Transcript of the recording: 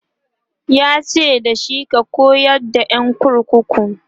yace dashi"ka koyar da ƴan kurkukun!"